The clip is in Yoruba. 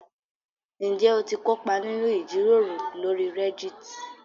Ǹjẹ́ o ti kópa nínú ìjíròrò lórí Reddit?